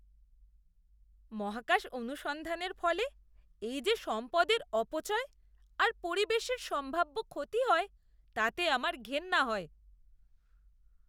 মহাকাশ অনুসন্ধানের ফলে এই যে সম্পদের অপচয় আর পরিবেশের সম্ভাব্য ক্ষতি হয় তাতে আমার ঘেন্না হয়।